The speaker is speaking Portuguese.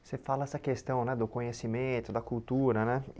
Você fala essa questão né do conhecimento, da cultura, né?